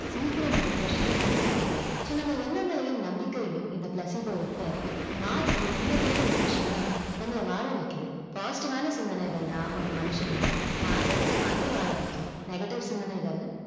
சீக்கிரம் depression கம்மியாகுது so நம்ம எண்ணங்களையும் நம்பிகையும் இந்த placebo effect மாத்தி நிம்மதியான மனிஷனா நம்மல வாழவைக்குது positive ஆன சிந்தனைகள் தான் ஒரு மனிஷன தான் ஆசை பட்டமாதிரி வாழவைக்கும் negative சிந்தனைகள்